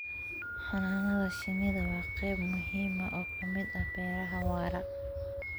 Xannaanada shinnidu waa qayb muhiim ah oo ka mid ah beeraha waara.